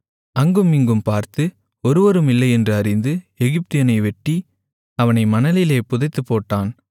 அங்கும் இங்கும் பார்த்து ஒருவரும் இல்லை என்று அறிந்து எகிப்தியனை வெட்டி அவனை மணலிலே புதைத்துப்போட்டான்